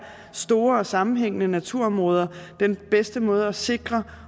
store og sammenhængende naturområder den bedste måde at sikre